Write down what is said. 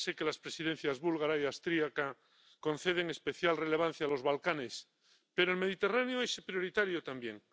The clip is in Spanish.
Ya sé que las Presidencias búlgara y austriaca conceden especial relevancia a los Balcanes, pero el Mediterráneo es prioritario también.